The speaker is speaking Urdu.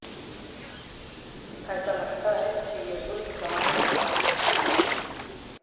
ایسا لگتا ہے کہ بے ظلم زمانے کے ہیں ہاتھ